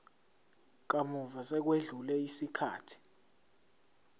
kamuva sekwedlule isikhathi